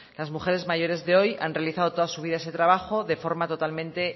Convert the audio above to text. las mujeres mayores de hoy han realizado toda su vida ese trabajo de forma totalmente